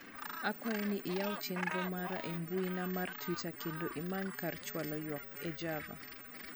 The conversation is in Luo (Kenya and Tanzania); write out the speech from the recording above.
akwayo ni iyaw chenro mara e mbuina mar twita kendo imany kar chwalo ywak e java